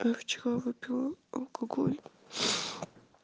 вчера выпила алкоголь